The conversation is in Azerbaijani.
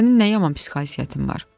Sənin nə yaman psixohisiyyətin var.